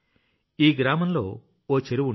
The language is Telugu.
ఈ గ్రామంలోఓ చెరువు ఉండేది